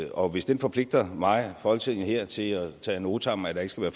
og hvis det forpligter mig og folketinget her til at tage ad notam at der ikke skal